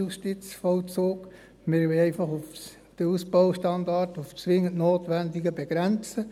Wir wollen einfach den Ausbaustandard auf das dringend Notwendige begrenzen.